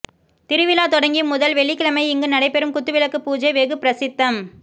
திருவிழா தொடங்கி முதல் வெள்ளிக்கிழமை இங்கு நடைபெறும் குத்துவிளக்கு பூஜை வெகு பிரசித்தம்